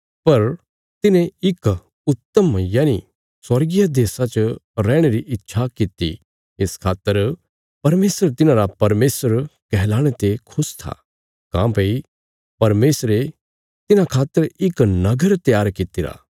पर तिन्हें इक उत्तम यनि स्वर्गीय देशा च रैहणे री इच्छा कित्ती इस खातर परमेशर तिन्हांरा परमेशर कहलाणे ते खुश था काँह्भई परमेशरे तिन्हां खातर इक नगर त्यार कित्तिरा